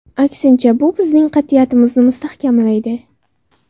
Aksincha, bu bizning qat’iyatimizni mustahkamlaydi.